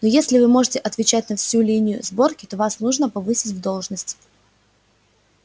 ну если вы можете отвечать на всю линию сборки то вас нужно повысить в должность